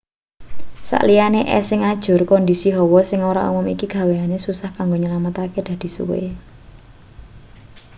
sak liyane es sing ajur kondisi hawa sing ora umum iki gawe usaha kanggo nyelametake dadi suwe